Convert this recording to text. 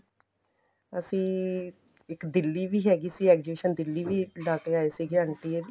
ਅਸੀਂ ਇੱਕ ਦਿੱਲੀ ਵੀ ਹੈਗੀ ਸੀ exhibition ਦਿੱਲੀ ਵੀ ਲਾਕੇ ਆਏ ਸੀ ਆਂਟੀ ਹੋਣੀ